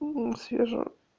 свежо